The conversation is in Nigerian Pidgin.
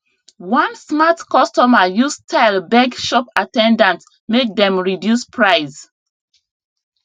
one smart customer use style beg shop at ten dant make dem reduce price